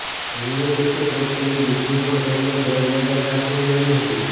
homeopathic ડોક્ટરની degree પણ તેમણે ગોલ્ડ મેડલ સાથે મેળવી હતી